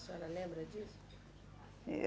A senhora lembra disso? Eu